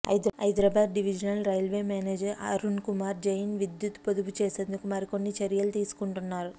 Hyderabad divisional railway manager Arunkumar Jain విద్యుత్ పొదుపు చేసేందుకు మరికొన్ని చర్యలు తీసుకుంటున్నారు